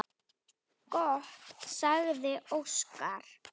Gott, sagði Óskar.